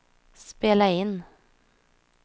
spela in